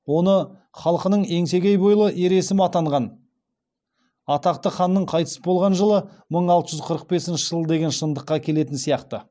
оны халқының еңсегей бойлы ер есім атанған атақты ханның қайтыс болған жылы мың алты жүз қырық бесінші жыл деген шындыққа келетін сияқты